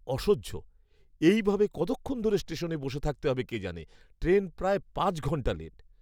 অসহ্য, এই ভাবে কতক্ষণ ধরে স্টেশনে বসে থাকতে হবে কে জানে। ট্রেন প্রায় পাঁচ ঘণ্টা লেট।